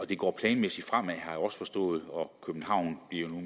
det går planmæssigt fremad har jeg også forstået københavn bliver nu